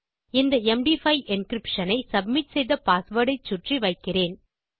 இந்த MD five encryption ஐ submit செய்த பாஸ்வேர்ட் ஐச்சுற்றி வைக்கிறேன்